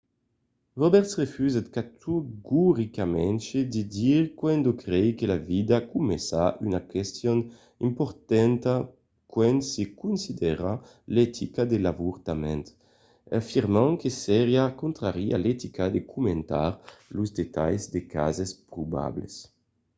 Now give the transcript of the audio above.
roberts refusèt categoricament de dire quand crei que la vida comença una question importanta quand se considera l’etica de l’avortament afirmant que seriá contrari a l’etica de comentar los detalhs de cases probables